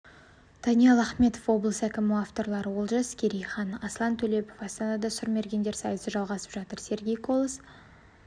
даниал ахметов облыс әкімі авторлары олжас керейхан аслан төлепов астанада сұрмергендер сайысы жалғасып жатыр сергей колос